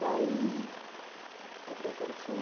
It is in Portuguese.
Daí, o que aconteceu?